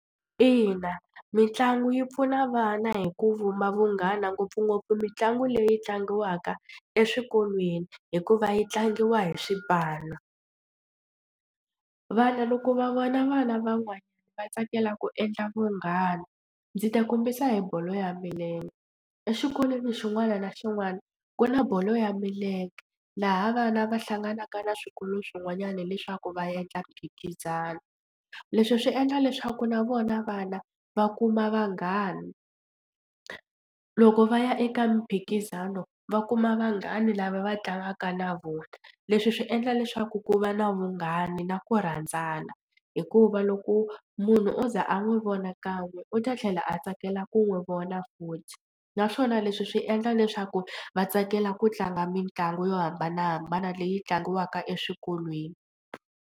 Ina mitlangu yi pfuna vana hi ku vumba vunghana ngopfungopfu mitlangu leyi tlangiwaka eswikolweni hikuva yi tlangiwa hi swipano. Vana loko va vona vana van'wanyana va tsakela ku endla vunghana ndzi ta kombisa hi bolo ya milenge exikolweni xin'wana na xin'wana ku na bolo ya milenge laha vana va hlanganaka na swikolo swin'wanyana leswaku va endla mphikizano. Leswi swi endla leswaku na vona vana va kuma vanghani loko va ya eka mphikizano va kuma vanghani lava va tlangaka na vona. Leswi swi endla leswaku ku va na vunghana na ku rhandzana hikuva loko munhu o ze a n'wi vona kan'we u ta tlhela a tsakela ku n'wi vona futhi naswona leswi swi endla leswaku va tsakela ku tlanga mitlangu yo hambanahambana leyi tlangiwaka eswikolweni.